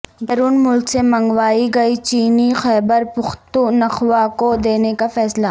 بیرون ملک سے منگوائی گئی چینی خیبرپختونخواکو دینے کا فیصلہ